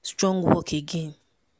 strong work again.